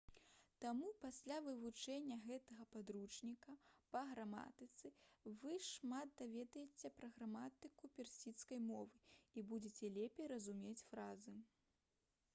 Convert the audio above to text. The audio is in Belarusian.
таму пасля вывучэння гэтага падручніка па граматыцы вы шмат даведаецеся пра граматыку персідскай мовы і будзеце лепей разумець фразы